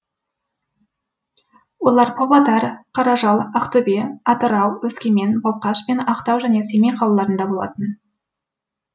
олар павлодар қаражал ақтөбе атырау өскемен балқаш пен ақтау және семей қалаларында болатын